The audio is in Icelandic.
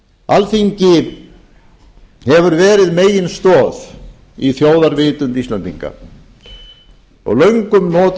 alþingi hefur verið meginstoð í þjóðarvitund íslendinga og löngum notið þess